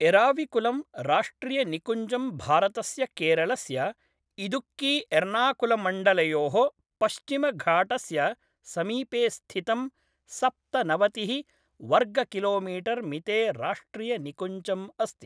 एराविकुलम् राष्ट्रियनिकुञ्जं भारतस्य केरलस्य इदुक्कीएर्नाकुलम्मण्डलयोः पश्चिमघाटस्य समीपे स्थितं सप्तनवतिः वर्गकिलोमीटर्मिते राष्ट्रियनिकुञ्जम् अस्ति ।